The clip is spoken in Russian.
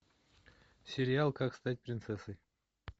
сериал как стать принцессой